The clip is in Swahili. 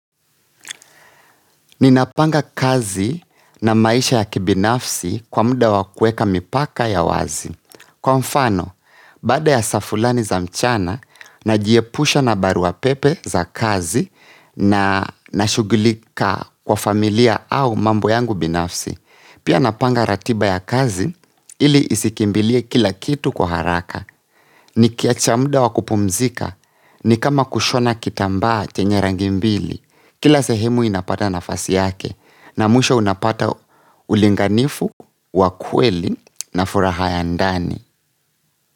Ninapanga kazi na maisha ya kibinafsi kwa muda wakueka mipaka ya wazi. Kwa mfano, baada ya saa fulani za mchana, najiepusha na barua pepe za kazi na nashugulika kwa familia au mambo yangu binafsi. Pia napanga ratiba ya kazi ili isikimbilie kila kitu kwa haraka ni kiacha muda wakupumzika ni kama kushona kitamba chenye rangi mbili. Kila sehemu inapata nafasi yake na mwisho unapata ulinganifu, wakweli na furaha ya ndani.